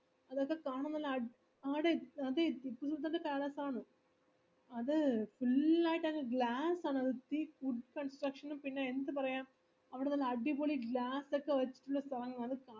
അതൊക്കെ കാണാൻ നല്ല അഡി ആടി അത് ടിപ്പുസുൽത്താന്റെ palace ആണ് അത് full ആയിട്ടങ് glass ആണ് അത് wood construction ഉം പിന്നെ എന്ത് പറയാംഅവിടെ നല്ലെഅടിപൊളി glass ഒക്കെ വെച്ട്ടുള്ള സ്ഥലങ്ങളാണ്